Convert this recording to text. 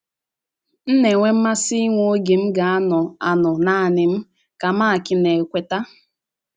“ M na - enwe mmasị inwe oge m ga - anọ - anọ nanị m, ” ka Mark na - ekweta.